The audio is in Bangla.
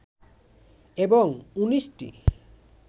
এবং ১৯ টি